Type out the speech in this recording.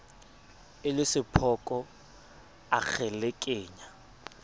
e le sephoko a kgelekenya